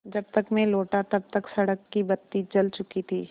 जब तक मैं लौटा तब तक सड़क की बत्ती जल चुकी थी